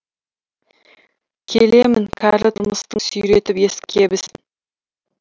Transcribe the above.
келемін кәрі тұрмыстың сүйретіп ескі кебісін